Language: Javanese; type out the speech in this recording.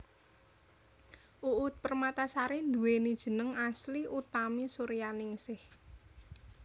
Uut Permatasari nduwéni jeneng asli Utami Suryaningsih